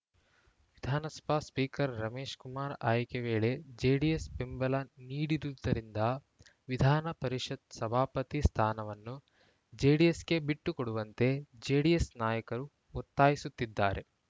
ವಿಧಾನಸಭಾ ಸ್ಪೀಕರ್‌ ರಮೇಶ್‌ಕುಮಾರ್‌ ಆಯ್ಕೆ ವೇಳೆ ಜೆಡಿಎಸ್‌ ಬೆಂಬಲ ನೀಡಿರುವುದರಿಂದ ವಿಧಾನ ಪರಿಷತ್‌ ಸಭಾಪತಿ ಸ್ಥಾನವನ್ನು ಜೆಡಿಎಸ್‌ಗೆ ಬಿಟ್ಟು ಕೊಡುವಂತೆ ಜೆಡಿಎಸ್‌ ನಾಯಕರು ಒತ್ತಾಯಿಸುತ್ತಿದ್ದಾರೆ